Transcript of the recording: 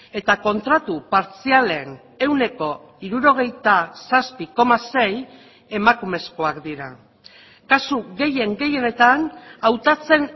eta kontratu partzialen ehuneko hirurogeita zazpi koma sei emakumezkoak dira kasu gehien gehienetan hautatzen